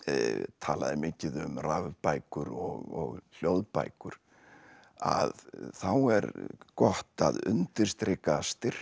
talað er mikið um rafbækur og hljóðbækur að þá er gott að undirstrika styrkleika